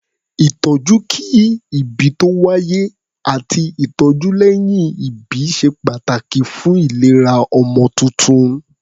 Ìtọ́jú kí-ìbí-tó-wáyé àti ìtọ́jú lẹ́yìn-ìbí ṣe pàtàkì fún ìlera pípé ọmọ tuntun.